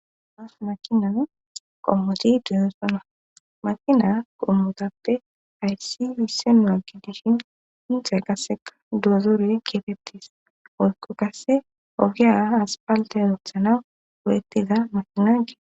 As makinan qommoti deyesona makina qommotappe aysi wisse nua gi dishin intha gasseka duozoore keefettes oykko kasse ogiya aspalte zothana godettiza makina gee.